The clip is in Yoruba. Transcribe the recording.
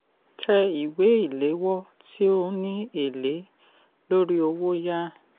tẹ ìwé ìléwọ́ tí ó ní èlé lórí owó yá